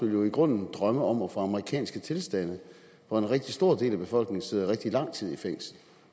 jo i grunden drømme om at få amerikanske tilstande hvor en rigtig stor del af befolkningen sidder rigtig lang tid i fængsel